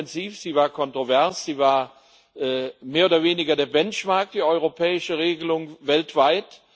Sie war intensiv, sie war kontrovers, sie war mehr oder weniger der Benchmark, die europäische Regelung weltweit.